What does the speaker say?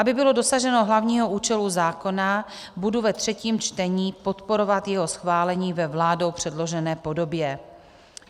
Aby bylo dosaženo hlavního účelu zákona, budu ve třetím čtení podporovat jeho schválení ve vládou předložené podobě.